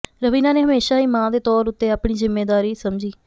ਰਵੀਨਾ ਨੇ ਹਮੇਸ਼ਾ ਹੀ ਮਾਂ ਦੇ ਤੌਰ ਉੱਤੇ ਆਪਣੀ ਜ਼ਿੰਮੇਦਾਰੀ ਸਮਝੀ